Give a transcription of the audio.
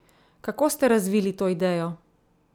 Kako ste razvili to idejo?